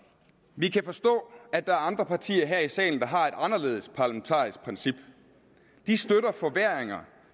vi kan forstå at der er andre partier her i salen der har et anderledes parlamentarisk princip de støtter forværringer